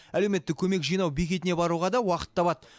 әлеуметтік көмек жинау бекетіне баруға да уақыт табады